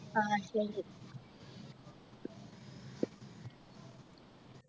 ആഹ് ശരി